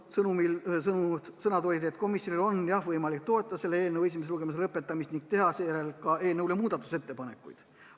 Mina ütlesin, et komisjonil on võimalik toetada selle eelnõu esimese lugemise lõpetamist ning teha seejärel muudatusettepanekuid.